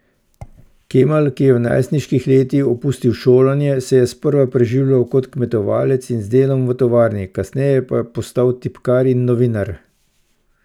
Kemal, ki je v najstniških letih opustil šolanje, se je sprva preživljal kot kmetovalec in z delom v tovarni, kasneje pa postal tipkar in novinar.